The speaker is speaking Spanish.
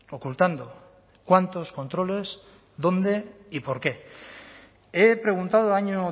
ocultando cuántos controles dónde y por qué he preguntado año